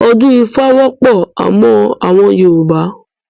Odun Ifa wọpọ amon awọn Yoruba